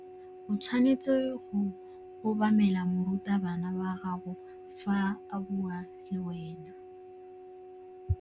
O tshwanetse go obamela morutabana wa gago fa a bua le wena.